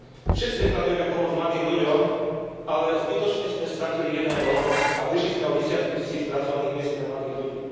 Všetci deklarujeme pomoc mladým ľuďom, ale zbytočne sme stratili jeden rok a prišli sme o desiatky tisíc pracovných miest pre mladých ľudí.